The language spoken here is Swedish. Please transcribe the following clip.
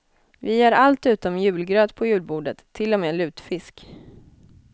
Vi har allt utom julgröt på julbordet, till och med lutfisk.